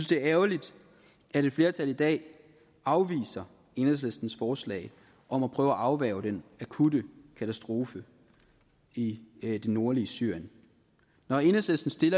det er ærgerligt at et flertal i dag afviser enhedslistens forslag om at prøve at afværge den akutte katastrofe i det nordlige syrien når enhedslisten